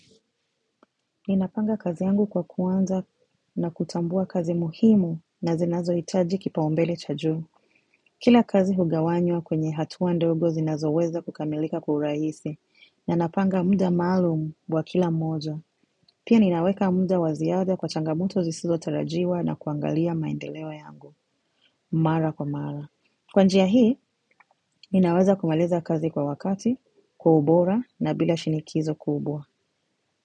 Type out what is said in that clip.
Ninapanga kazi yangu kwa kuanza na kutambua kazi muhimu na zinazohitaji kipaumbele cha juu. Kila kazi hugawanywa kwenye hatua ndogo zinazo weza kukamilika kwa urahisi. Na napanga muda maalum wa kila moja. Pia ninaweka muda wa ziada kwa changamoto zisizo tarajiwa na kuangalia maendeleo yangu. Mara kwa mara. Kwa njia hii, ninaweza kumaliza kazi kwa wakati, kwa ubora na bila shinikizo kubwa.